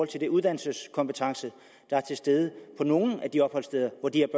til den uddannelseskompetence der er til stede på nogle af de opholdssteder hvor de